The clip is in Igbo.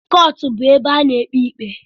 Kọọtụ bu ebe a na-ekpe ikpe